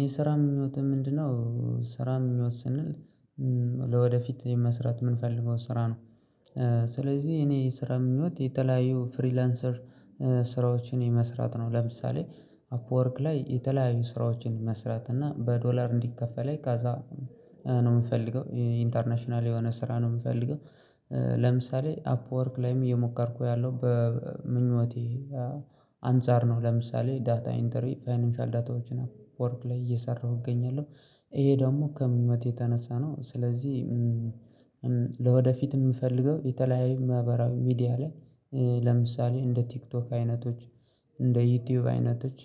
የስራ ምኞትህ ምንድነው? ስራ የሚወስንል ለወደፊት እኔ መስራት የምንፈልገው ስራ ነው። ስለዚህ እኔ የስራ ምኞት የተለያዩ ፍሪላንሰር ስራዎችን መስራት ነው። ለምሳሌ አፕወርክ ላይ የተለያዩ ስራዎችን መስራት እና በዶላር እንዲከፈልኝ ካዛ ነው የምፈልገው ኢንተርናሽናል የሆነ ስራ ነው የምፈልገው። ለምሳሌ አፕወርክ ላይም እየሞከርኩ ያለው በምኞቴ አንፃር ነው። ለምሳሌ ዳታ ኢንተሪ ፋይናንሻል ዳታዎችን አፕወርክ ላይ እየሰራሁ እገኛለሁ ይሄ ደግሞ ከምኞቴ የተነሳ ነው ስለዚህ። ለወደፊት የምፈልገው የተለያየ ማህበራዊ ሚዲያ ላይ ለምሳሌ እንደ ቲክቶክ አይነቶች እንደ ዩቲዩብ አይነቶች